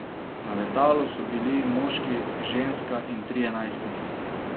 Na letalu so bili moški, ženska in trije najstniki.